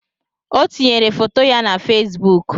O tinyere foto ya na fesbụụk.